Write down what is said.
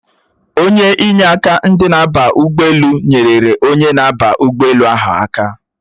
Onye inyeaka ndị na-aba ụgbọelu nyerere onye na-aba ụgbọelu ahụ aka